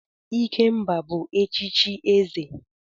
Ikemba bu echichi eze.